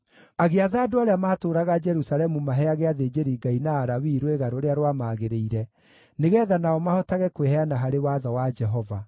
Agĩatha andũ arĩa maatũũraga Jerusalemu maheage athĩnjĩri-Ngai na Alawii rwĩga rũrĩa rwamagĩrĩire, nĩgeetha nao mahotage kwĩheana harĩ Watho wa Jehova.